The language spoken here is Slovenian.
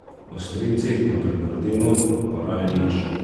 O stricih na Bernardinu, pa raje nič.